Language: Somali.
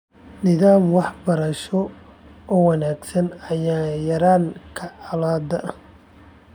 Nidaam waxbarasho oo wanaagsan ayaa yarayn kara colaadaha .